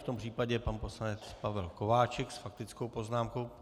V tom případě pan poslanec Pavel Kováčik s faktickou poznámkou.